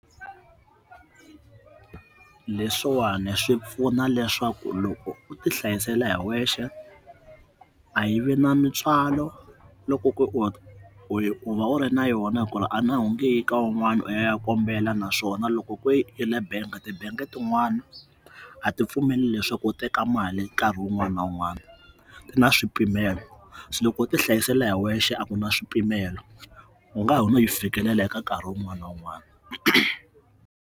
Leswiwani swi pfuna swaku loko u ti hlayisela hi wexe a yivi na mintswalo loko ko wu va wuri na yona la a ni a wu ngeyi ka un'wana u ya ya kombela naswona loko i le bank ti-bank tin'wana a ti pfumeli leswaku u teka mali nkarhi un'wana na un'wana ku na swipimelo so loko u ti hlayisela hi wexe a kuna swipimelo u ngaho yi fikelela hi nkarhi un'wana na un'wana.